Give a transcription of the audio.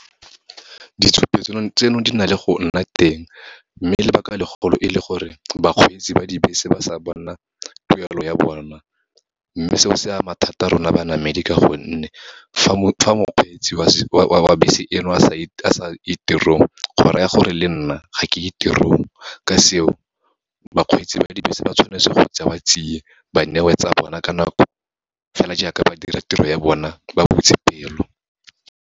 Ditshupetso tseno di na le go nna teng, mme lebaka legolo e le gore bakgweetsi ba dibese ba sa bona tuelo ya bona. Mme seo se ama thata rona banamedi ka gonne, fa mokgweetsi wa bese eno a sa ye tirong, go raya gore le nna ga ke ye tirong. Ka seo, bakgweetsi ba dibese ba tshwanetse go tsewa tsia ba newe tsa bona ka nako, fela jaaka ba dira tiro ya bona ba butse pelo.